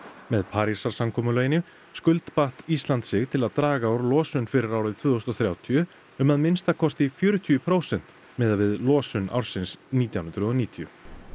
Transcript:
með Parísarsamkomulaginu skuldbatt Ísland sig til að draga úr losun fyrir árið tvö þúsund og þrjátíu um að minnsta kosti fjörutíu prósent miðað við losun ársins nítján hundruð og níutíu